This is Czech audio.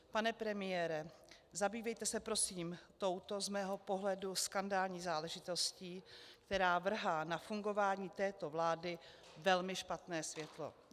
Pane premiére, zabývejte se prosím touto z mého pohledu skandální záležitostí, která vrhá na fungování této vlády velmi špatné světlo.